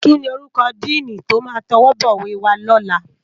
Kini órúkò dìní tó má tòwòbòwé wá lòlá